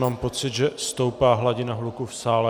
Mám pocit, že stoupá hladina hluku v sále.